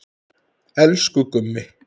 Elsku Gummi.